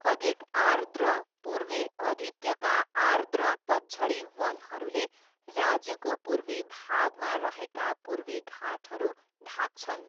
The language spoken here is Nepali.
अधिक आर्द्र पूर्वी अधित्यका आर्द्र पतझडी वनहरूले राज्यको पूर्वी भागमा रहेका पूर्वी घाटहरू ढाक्छन्।